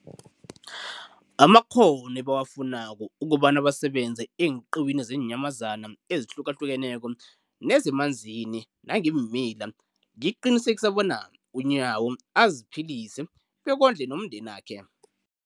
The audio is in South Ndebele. Amakghono ebawafunako ukobana basebenze eenqiwini zeenyamazana ezihlukahlukeneko nezemanzini nangeemila, liqinisekisa bona uNyawo aziphilise bekondle nomndenakhe.